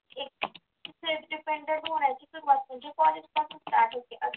seld dependant होण्याची सुरुवात म्हणजे college पासून start होते